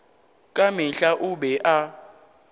ka mehla o be a